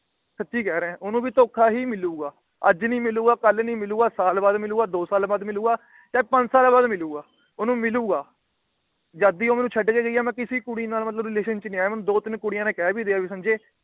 ਸੱਚੀ ਕਹਿ ਰਿਹਾ ਓਹਨੂੰ ਵੀ ਧੋਖਾ ਹੀ ਮਿਲੂਗਾ। ਅੱਜ ਨਹੀਂ ਮਿਲੂਗਾ, ਕੱਲ ਨਹੀਂ ਮਿਲੂਗਾ, ਸਾਲ ਬਾਅਦ ਮਿਲੂਗਾ, ਦੋ ਸਾਲ ਬਾਅਦ ਮਿਲੂਗਾ, ਚਾਹੇ ਪੰਜ ਸਾਲ ਬਾਅਦ ਮਿਲੂਗਾ ਓਹਨੂੰ ਮਿਲੂਗਾ। ਜਦ ਦੀ ਉਹ ਮੈਨੂੰ ਛੱਡ ਕੇ ਗਈ ਏ ਮੈ ਕਿਸੇ ਕੁੜੀ ਨਾਲ ਮਤਲਬ Relation ਚ ਨਹੀਂ ਆਇਆ। ਮੈਨੂੰ ਦੋ ਤਿੰਨ ਕੁੜੀਆਂ ਕਹਿ ਵੀ ਰਹੀਆਂ ਵੀ ਸੰਜੇ